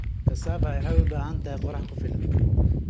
Cassava waxay u baahan tahay qorrax ku filan.